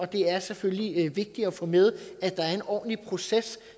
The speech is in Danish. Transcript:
det er selvfølgelig vigtigt at få med at der er en ordentlig proces